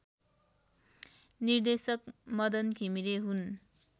निर्देशक मदन घिमिरे हुन्